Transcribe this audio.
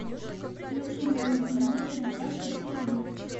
включи мне на телевизоре наше тв